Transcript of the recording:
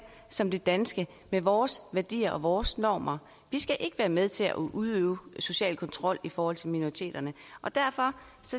som det danske med vores værdier og vores normer vi skal ikke være med til at udøve social kontrol i forhold til minoriteterne derfor